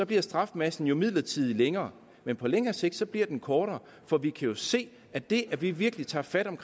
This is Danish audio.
bliver strafmassen jo midlertidigt længere men på længere sigt bliver den kortere for vi kan jo se at det at vi virkelig tager fat om